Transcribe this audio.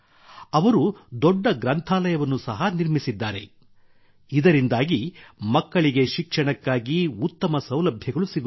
ಅವರು ದೊಡ್ಡ ಗ್ರಂಥಾಲಯವನ್ನು ಸಹ ನಿರ್ಮಿಸಿದ್ದಾರೆ ಇದರಿಂದಾಗಿ ಮಕ್ಕಳಿಗೆ ಶಿಕ್ಷಣಕ್ಕಾಗಿ ಉತ್ತಮ ಸೌಲಭ್ಯಗಳು ಸಿಗುತ್ತಿವೆ